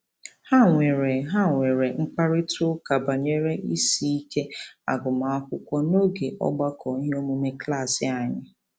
Ha nwere Ha nwere mkparịtaụka banyere isiike agụmakwụkwọ n'oge ọgbakọ iheomume klaasị anyị